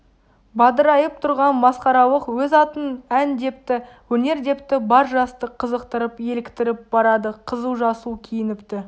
бадырайып тұрған масқаралық өз атын ән депті өнер депті бар жасты қызықтырып еліктіріп барады қызыл-жасыл киініпті